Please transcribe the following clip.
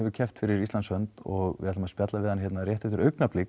keppt fyrir Íslands hönd og við ætlum að spjalla við hann hér eftir augnablik